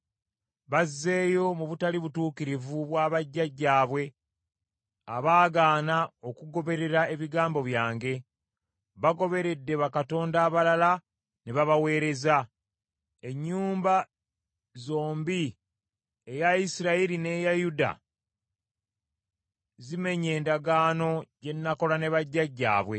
Bazzeeyo mu butali butuukirivu bwa bajjajjaabwe abaagaana okugoberera ebigambo byange. Bagoberedde bakatonda abalala ne babaweereza. Ennyumba zombi eya Isirayiri n’eya Yuda zimenye endagaano gye nakola ne bajjajjaabwe.